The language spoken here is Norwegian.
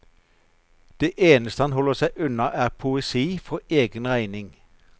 Det eneste han holder seg unna, er poesi for egen regning.